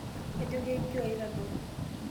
kajo kinkio aitodol?